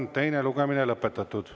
Teine lugemine on lõpetatud.